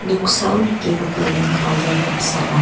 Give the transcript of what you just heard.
oksao nikenggipa ian bajar damsa ong·a.